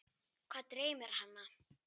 Hvað dreymir hana?